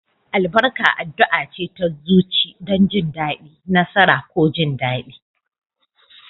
Albarka addu'a ce ta zuci don jin daɗi, nasara, ko jin daɗi.